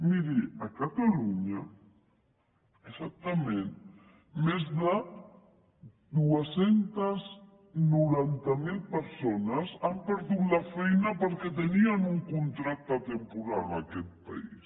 miri a catalunya exactament més de dos cents i noranta miler persones han perdut la feina perquè tenien un contracte temporal en aquest país